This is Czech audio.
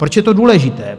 Proč je to důležité?